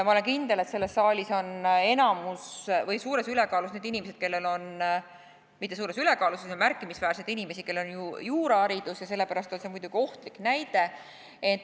Ma olen kindel, et selles saalis on suures ülekaalus need inimesed – mitte suures ülekaalus, vaid on märkimisväärselt inimesi –, kellel on juuraharidus, ja sellepärast on see muidugi ohtlik näide.